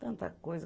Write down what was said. Tanta coisa.